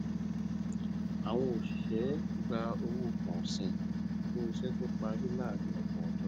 awọn oṣiṣẹ gba owó pọọsìn fún iṣẹ tó parí láàárín ọgbọn ọjọ